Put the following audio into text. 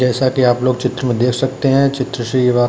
जैसा कि आप लोग चित्र में देख सकते हैं चित्र से ये बा --